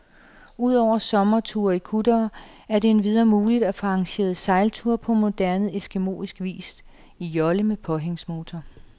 Ud over sommerture i kuttere er det endvidere muligt at få arrangeret sejlture på moderne eskimoisk vis, i jolle med påhængsmotor.